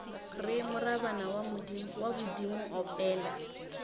re morabana wa bodimo opela